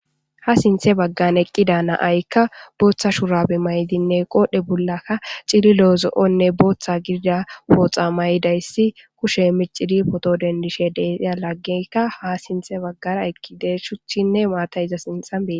Ha sinthe baggan eqqida na7ayikka booththa shuraabe mayidinne cililo,booththanne zo7o pooxa mayidayssi kushe miccidi pooto dendishe dees, iza laggeyka sintha baggara eqqididees.shuchinne maatay ha sinthe baggara dees.